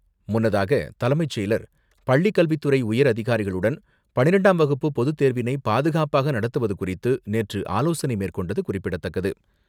முன்னதாக, தலைமைச் செயலர், பள்ளிக்கல்வித்துறை உயர் அதிகாரிகளுடன் பன்னிரெண்டாம் வகுப்பு பொது தேர்வினை பாதுகாப்பாக நடத்துவது குறித்து, நேற்று ஆலோசனை மேற்கொண்டது குறிப்பிடத்தக்கது.